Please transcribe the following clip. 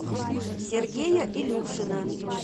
сергея илюшина